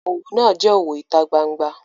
Owo naa je owo ita gbangba.